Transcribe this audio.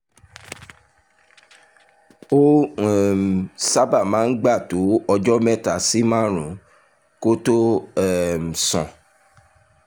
ó um sábà máa ń gbà tó ọjọ́ mẹ́ta sí márùn-ún kó tó um sàn